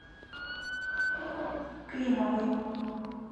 климовой